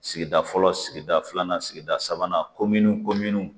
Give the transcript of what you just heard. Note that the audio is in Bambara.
Sigida fɔlɔ sigida filanan sigida sabanan komini komini